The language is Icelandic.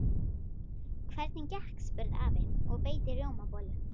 Hvernig gekk? spurði afi og beit í rjómabollu.